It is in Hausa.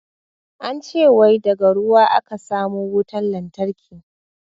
An ce wai daga ruwa a ka samo wutan lantarki.